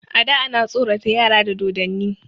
A da ana tsorata yara da dodonni.